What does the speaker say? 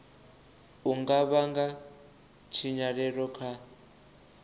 u nga vhanga tshinyalelo kha